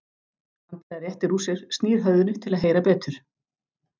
Andrea réttir úr sér, snýr höfðinu til að heyra betur.